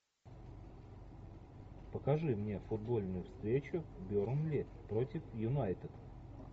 покажи мне футбольную встречу бернли против юнайтед